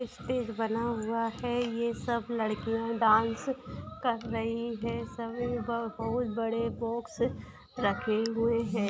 Stage बना हुआ है ये सब लड़किया डांस कर रही हैं सभी बहुत बड़े बॉक्स रखे हुए है।